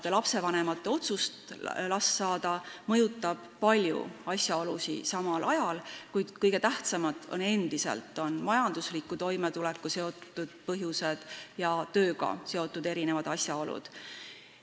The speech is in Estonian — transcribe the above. Kõigepealt seda, et otsust, kas last saada, mõjutavad paljud asjaolud samal ajal, kuid kõige tähtsamad on endiselt majandusliku toimetulekuga seotud põhjused ja tööga seotud asjaolud.